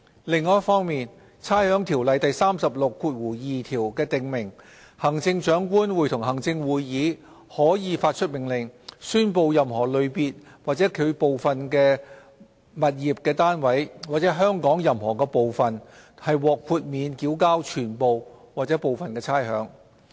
另一方面，《差餉條例》第362條訂明，行政長官會同行政會議可發出命令，宣布任何類別或其部分的物業單位，或香港任何部分，獲豁免繳交全部或部分差餉。